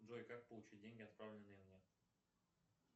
джой как получить деньги отправленные мне